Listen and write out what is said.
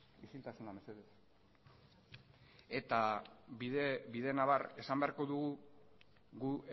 isiltasuna mesedez bidenabar esan beharko dugu gu